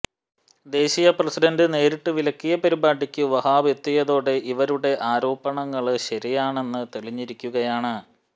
ദേശീയ പ്രസിഡന്റ് നേരിട്ട് വിലക്കിയ പരിപാടിക്ക് വഹാബ് എത്തിയതോടെ ഇവരുടെ ആരോപണങ്ങള് ശരിയാണെന്ന് തെളിഞ്ഞിരിക്കുകയാണ്